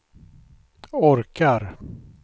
orkar